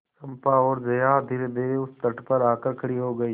चंपा और जया धीरेधीरे उस तट पर आकर खड़ी हो गई